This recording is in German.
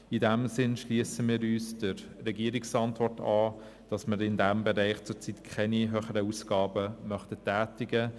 In diesem Sinne schliessen wir uns der Antwort des Regierungsrats an und möchten in diesem Bereich zurzeit keine höheren Ausgaben tätigen.